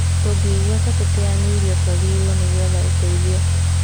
Tũngĩigua ta tũteanĩirio, tũagĩrĩirwo nĩ gũetha ũteithio.